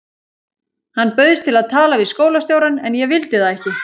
Hann bauðst til að tala við skólastjórann en ég vildi það ekki.